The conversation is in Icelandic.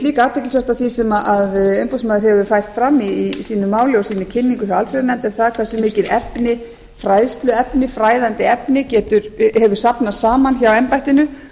líka athyglisvert sem af því sem umboðsmaður hefur fært fram í sínu máli og í sinni kynningu hjá allsherjarnefnd og það er hversu mikið fræðandi efni hefur safnast saman hjá embættinu